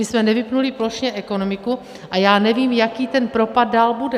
My jsme nevypnuli plošně ekonomiku a já nevím, jaký ten propad dál bude.